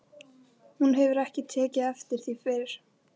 Hún hefur ekki tekið eftir því fyrr.